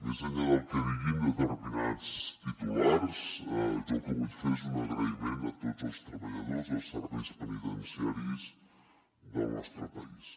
més enllà del que diguin determinats titulars jo el que vull fer és un agraïment a tots els treballadors dels serveis penitenciaris del nostre país